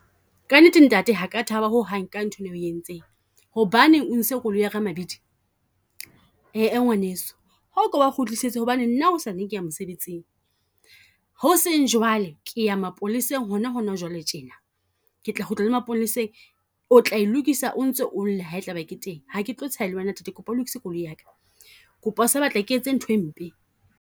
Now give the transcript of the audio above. Ka nnete ntate ha ka taba ho hang ka nthwena o e entseng, hobaneng o ntshitse koloi ya ka mabidi? Ee ee ngwaneso, a ko a kgutlisetse hobane nna hosane ke ya mosebetsing. Ho seng jwale ke ya mapoleseng hona hona jwale tjena, ke tla kgutla maponeseng o tla e lokisa o ntso o lla ha e tlabe ke teng. Ha ke tlo tsheha le wena ntate kopa o lokise koloi ya ka. Kopa o sa batla ke etse nthwe mpe.